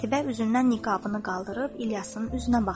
Qətibə üzündən niqabını qaldırıb İlyasın üzünə baxdı.